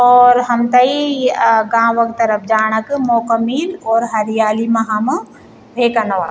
और हमतई आ गांव क तरफ जाणा क मौका मिल और हरियाली मा हम रेका नवा।